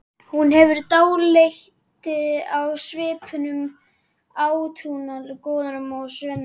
Hún hefur dálæti á svipuðum átrúnaðargoðum og Svenni.